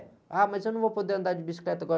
Ah, mas eu não vou poder andar de bicicleta agora.